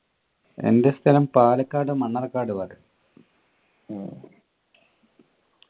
എൻ്റെ സ്ഥലം പാലക്കാട് മണ്ണാർക്കാട് ഭാഗത്തു